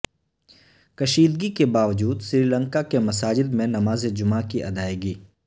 کشیدگی کے باوجود سری لنکا کے مساجد میں نماز جمعہ کی ادائیگی